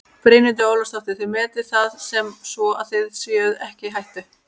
Brynhildur Ólafsdóttir: Þið metið það sem svo að þið séuð ekki í hættu?